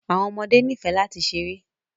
Àwọn ọmọdé ní fẹ́ lati sẹ̀rẹ.